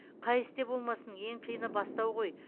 қай істе болмасын ең қиыны бастау ғой